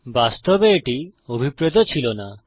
বাস্তবে এটি অভিপ্রেত ছিল না